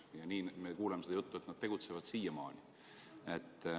Ja nii me kuuleme seda juttu, et nad tegutsevad, siiamaani.